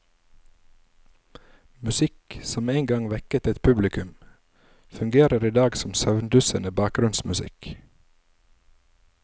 Musikk som en gang vekket et publikum, fungerer i dag som søvndyssende bakgrunnsmusikk.